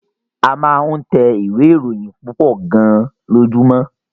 A máa ń tẹ ìwé-ìròyìn púpọ̀ gan-an lójúmọ́.